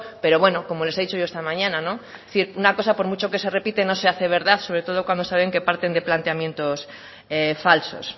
pero bueno como les he dicho yo esta mañana no es decir una cosa por mucho que se repite no se hace verdad sobre todo cuando saben que parten de planteamientos falsos